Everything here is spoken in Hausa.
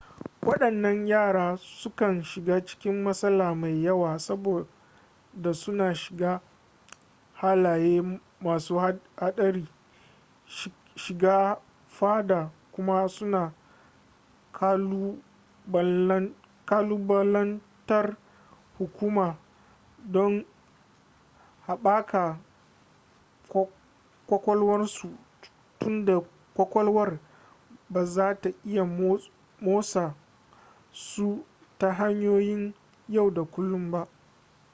waɗannan yara sukan shiga cikin matsala mai yawa saboda suna shiga halaye masu haɗari shiga faɗa kuma suna ƙalubalantar hukuma don haɓaka ƙwaƙwalwarsu tunda kwakwalwar ba za ta iya motsa su ta hanyoyin yau da kullun ba